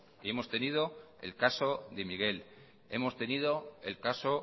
y hemos tenido el caso de miguel hemos tenido el caso